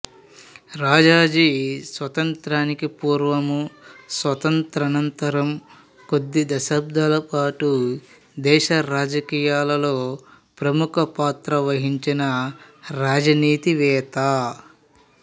రాజాజీ స్వాతంత్ర్యానికి పూర్వం స్వాతంత్ర్యానంతరం కొద్ది దశాబ్దాల పాటు దేశ రాజకీయాల్లో ముఖ్య పాత్ర వహించిన రాజనీతివేత్త